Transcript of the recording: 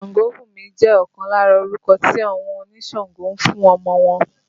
Sangobunmi jẹ ọkan lára orúkọ tí àwọn onísàǹgó ń fún ọmọ wọn